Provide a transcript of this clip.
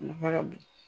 A nafa ka bon